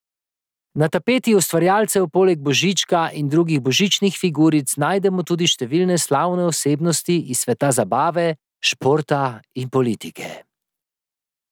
Na tapeti ustvarjalcev poleg Božička in drugih božičnih figuric najdemo tudi številne slavne osebnosti iz sveta zabave, športa, politike ...